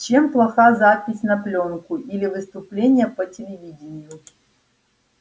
чем плоха запись на плёнку или выступление по телевидению